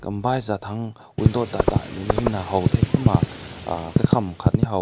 um baizet han window da da meni na haw te kumna uh kakam aakat ne haw te.